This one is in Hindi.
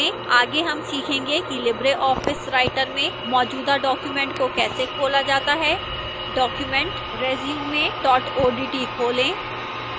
आगे हम सीखेंगे कि लिबर ऑफिस writer में मौजूदा document को कैसे खोला जाता है document resume odt खोलें